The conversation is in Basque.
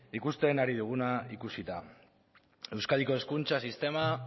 ikusten ari duguna ikusita euskadiko hezkuntza sistema